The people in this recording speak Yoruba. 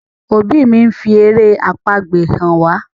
òbí mí ńfi èrè àpagbè hàn wá.